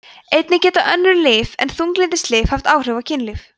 einnig geta önnur lyf en þunglyndislyf haft áhrif á kynlíf